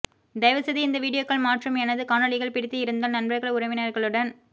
தயவு செய்து இந்த வீடியோக்கள் மாற்றும் எனது காணொளிகள் பிடித்து இருந்தால் நண்பர்கள் உறவினர்களுடன்